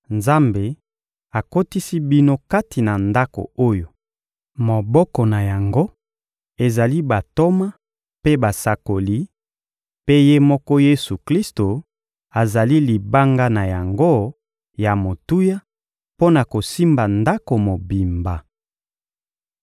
Nzambe akotisi bino kati na ndako oyo moboko na yango ezali bantoma mpe basakoli, mpe Ye moko Yesu-Klisto azali libanga na yango ya motuya mpo na kosimba ndako mobimba.